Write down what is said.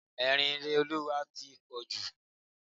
Ẹ̀rín Ireolúwa tí pọ̀ jù.